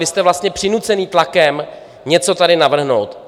Vy jste vlastně přinuceni tlakem něco tady navrhnout.